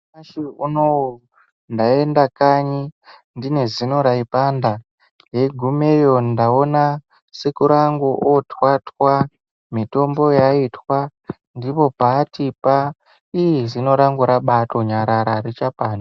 Nyamashi unowu ndaenda kanyi ndine zino raipanda ndeigumeyo ndaona sekuru angu otwatwa mitombo yaitwa ndipo paatipa ii zino rangu rabatonyarara arichapandi.